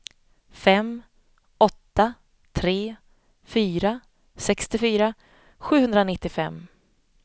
fem åtta tre fyra sextiofyra sjuhundranittiofem